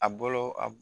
A bolo a